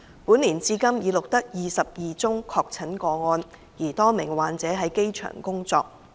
本年至今已錄得超過20宗確診個案，而多名患者在機場工作。